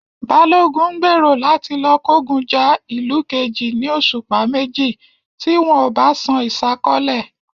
Balogun ń gbèrò láti lọ kógun ja ìlú kejì ní òṣùpá méjì tí wọn ò bá san ìsákọ́lẹ̀